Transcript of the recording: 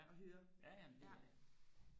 og høre ja